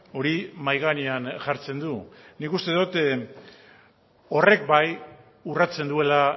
hori mahai gainean jartzen du nik uste dot horrek bai urratzen duela